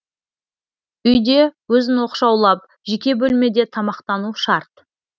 үйде өзін оқшаулап жеке бөлмеде тамақтану шарт